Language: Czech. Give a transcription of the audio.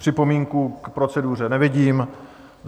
Připomínku k proceduře nevidím.